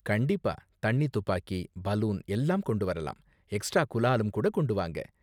கண்டிப்பா, தண்ணி துப்பாக்கி, பலூன் எல்லாம் கொண்டு வரலாம், எக்ஸ்ட்ரா குலாலும் கூட கொண்டு வாங்க.